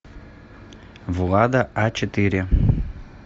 влада а четыре